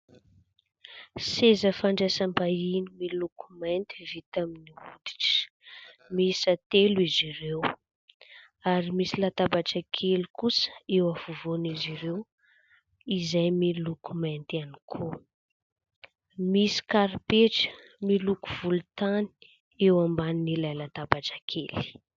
Seza fandraisam-bahiny miloko mainty vita amin'ny hoditra, miisa telo izy ireo ; ary misy latabatra kely kosa eo afovoan'izy ireo izay miloko mainty ihany koa. Misy karipetra miloko volontany eo ambanin'ilay latabatra kely.